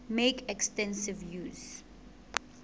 make extensive use